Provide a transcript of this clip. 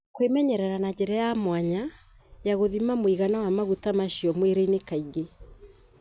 kwĩmenyerera na njĩra ya mwanya ya gũthima mũigana wa maguta macio mwĩrĩinĩ kaingĩ.